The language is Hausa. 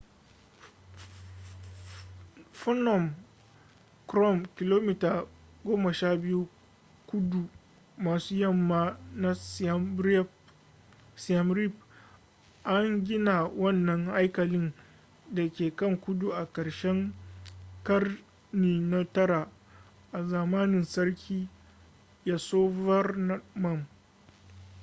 phnom krom kilomita 12 kudu maso yamma na siem reap an gina wannan haikalin da ke kan tudu a ƙarshen ƙarni na 9 a zamanin sarki yasovarman